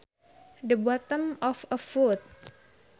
The bottom of a foot